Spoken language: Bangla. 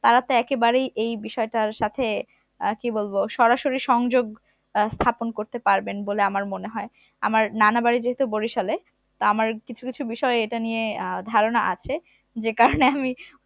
তারা তো একেবারেই এই বিষয়টার সাথে আহ কি বলবো সরাসরি সংযোগ আহ স্থাপন করতে পারবেন বলে আমার মনে হয় আমার নানার বাড়ি যেহুতু বরিশালে তা আমার কিছু কিছু বিষয় এটা নিয়ে আহ ধারণা আছে যে কারণে আমি